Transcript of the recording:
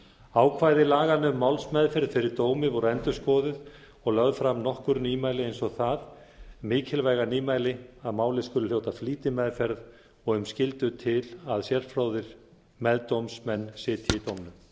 ákvæði laganna um málsmeðferð fyrir dómi voru endurskoðuð og lögð fram nokkur nýmæli eins og það mikilvæga nýmæli að málið skuli hljóta flýtimeðferð og um skyldu til að sérfróðir meðdómsmenn sitji í dómnum